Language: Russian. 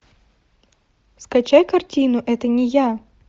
скачай картину это не я